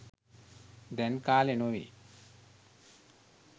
දැන් කාලෙ නොවැ